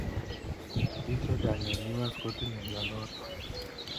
Bik chechang eng US kotinye mnyenotok.